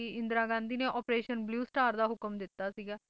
ਤਾ ਭਾਰਤ ਦੀ ਪ੍ਰਧਾਨ ਮੰਤਰੀ ਨੇ ਇੰਦਰਾ ਗਾਂਧੀ ਨੇ ਅਪ੍ਰੇਸ਼ਨ ਬਲੁ ਸਟਾਰ ਦਾ ਹੁਕਮ ਦਿੱਤਾ ਸੀਗਾ ਜਿਹਦੇ